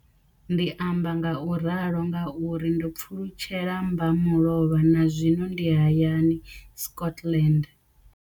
Ndi amba ngauralo nga uri ndo pfulutshela mmba mulovha na zwino ndi hayani, Scotland.